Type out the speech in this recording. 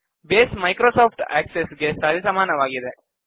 base Microsoft Access ಗೆ ಸರಿಸಮಾನವಾಗಿದೆ